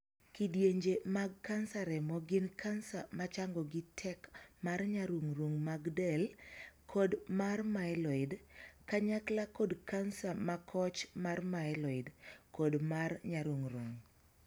Kidienje mag kansa remo gin kansa ma changogi tek mar nyarung'rung' mag del kod mar 'myeloid', kanyakla kod kansa ma koch mar 'myeloid', kod mar nyarung'rung.